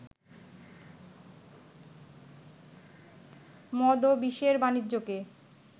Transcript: মদ ও বিষের বানিজ্যকে